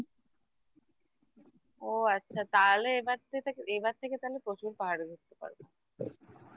ও আচ্ছা তাহলে এবার থেকে তাহলে প্রচুর পাহাড়ে ঘুরতে পারবো